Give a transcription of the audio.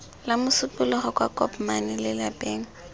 la mosupologo kwa kopmane lelapeng